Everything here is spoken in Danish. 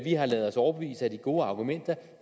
har ladet os overbevise af de gode argumenter